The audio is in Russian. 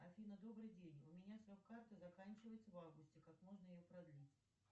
афина добрый день у меня срок карты заканчивается в августе как можно ее продлить